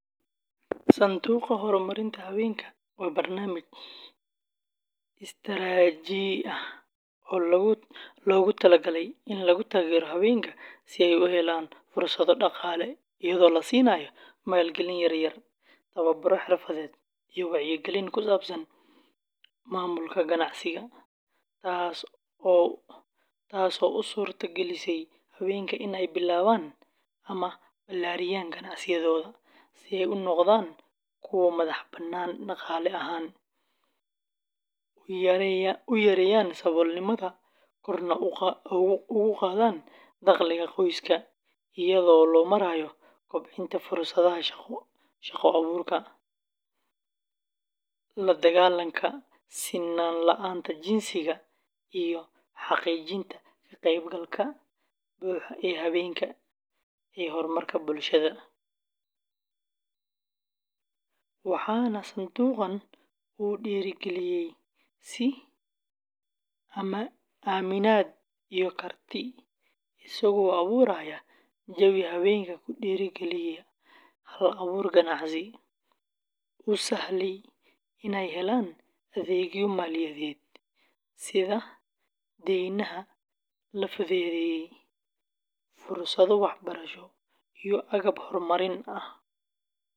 Sanduuqa Horumarinta Haweenka waa barnaamij istaraatiiji ah oo loogu talagalay in lagu taageero haweenka si ay u helaan fursado dhaqaale, iyadoo la siinayo maalgelin yaryar, tababaro xirfadeed, iyo wacyigelin ku saabsan maamulka ganacsiga, taasoo u suurta gelisa haweenka in ay bilaabaan ama ballaariyaan ganacsiyadooda, si ay u noqdaan kuwo madaxbannaan dhaqaale ahaan, u yareeyaan saboolnimada, korna ugu qaadaan dakhliga qoyska, iyadoo loo marayo kobcinta fursadaha shaqo abuurka, la-dagaallanka sinnaan la’aanta jinsiga, iyo xaqiijinta ka-qaybgalka buuxa ee haweenka ee horumarka bulshada; waxana sanduuqan uu dhiirrigeliyaa is-aaminaad iyo karti, isagoo abuuraya jawi haweenka ku dhiirrigeliya hal-abuur ganacsi, u sahlaaya inay helaan adeegyo maaliyadeed sida deynaha la fududeeyay, fursado waxbarasho iyo agab horumarin ah.